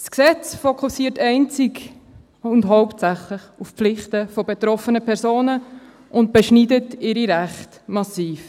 Das Gesetz fokussiert einzig und hauptsächlich auf die Pflichten von betroffenen Personen und beschneidet ihre Rechte massiv.